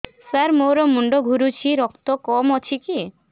ସାର ମୋର ମୁଣ୍ଡ ଘୁରୁଛି ରକ୍ତ କମ ଅଛି କି